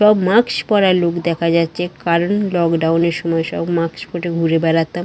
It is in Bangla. সব মাক্স পড়া লোক দেখা যাচ্ছে। কারণ লকড ডাউন এর সময় মাক্স পরে ঘুরে বেড়াতাম--